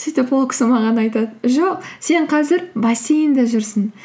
сөйтіп ол кісі маған айтады жоқ сен қазір бассейнде жүрсің